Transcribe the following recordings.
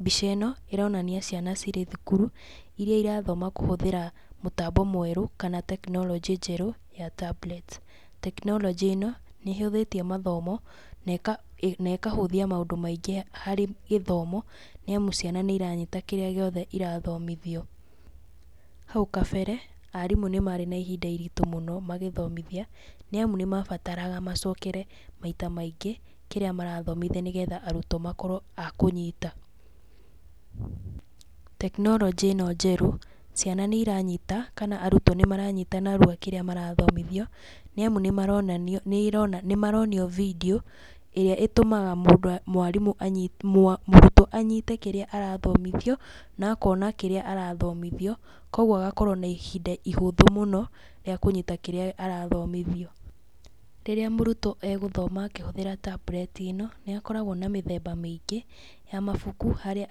Mbica ĩno, ĩronania ciana cirĩ thukuru, irĩa irathoma kũhũthĩra mũtambo mwerũ, kana tekinoronjĩ njerũ ya itambureti. Tekinoronjĩ ĩno nĩ ĩhũthĩtie mathomo, na ĩkahũthia maũndũ maingĩ harĩ gĩthomo, nĩ amu ciana nĩ iranyita kĩrĩa gĩothe irathomithio. Hau kabere, arimũ nĩ marĩ na ihinda iritũ mũno magĩthomithia, nĩ amu nĩ mabataraga macokere maita maingĩ kĩrĩa marathomithia nĩgetha arutwo makorwo akũnyita. Tekinoronjĩ ĩno njerũ, ciana nĩ iranyita kana arutwo nĩ maranyita narua kĩrĩa marathomithio, nĩ amu nĩ maronanio nĩ ĩrona nĩ maronio video ĩrĩa ĩtũmaga mũndũ mwarimũ anyi, mũrutwo anyite kĩrĩa arathomithio, na akona kĩrĩa arathomithio, koguo agakorwo na ihinda ihũthũ mũno rĩa kũnyita kĩrĩa arathomithio. Rĩrĩa mũrutwo agũthoma akĩhũthĩra tambureti ĩno, nĩ akoragwo na mĩthemba mĩingĩ ya mabuku, harĩa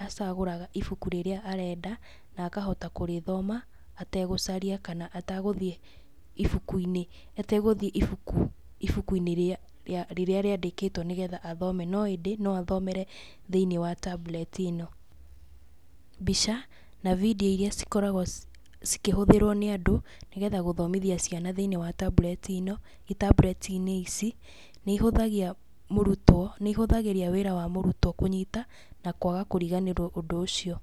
acagũraga ibuku rĩrĩa arenda na akahota kũrĩthoma atagũcaria kana ategũthiĩ ibuku-inĩ ategũthiĩ ibuku, ibuku-inĩ rĩa rĩrĩa rĩandĩkĩtwo nĩgetha athome, no ĩndĩ no athomere thĩiniĩ wa tambureti ĩno. Mbica na video irĩa cikoragwo cikĩhũthĩrwi nĩ andũ nĩgetha gũthomithia ciana thĩiniĩ wa tambureti ĩno, itambureti-inĩ ici , nĩ ihuthagia mũrutwo, nĩ ihũthagĩria wĩra wa mũrutwo kũnyita na kwaga kũriganĩrwo ũndũ ũcio.